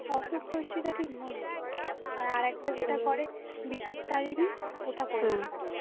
আর একটা যেটা করে বিপত্তারিণী ওটা করেনি.